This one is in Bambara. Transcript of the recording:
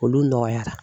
Olu nɔgɔyara